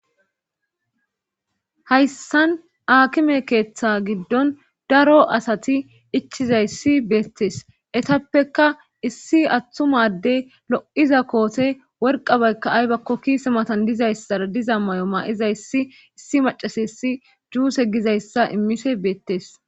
Hayssan aakime keeththa giddon daro asati ichizayssi beettes etappeka issi attumaddey lo7iza koote worqabaykka aybakko kiise matan dizayssara diza may7o ma7izayssi issi macasa yssi juuse gizayssa immise beettes